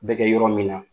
Bɛ kɛ yɔrɔ min na